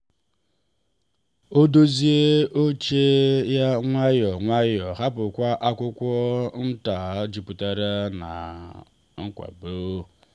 ọ dozie oche ya nwayọọ nwayọọ hapụkwa akwụkwọ nta jupụtara na nkwado.